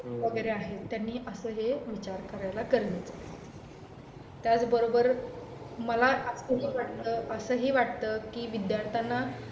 वगैरे आहेत त्यांनी असं हे विचार करायला गरजेचा आहे त्याचबरोबर मला असंही असंही वाटतं की विद्दार्थ्याना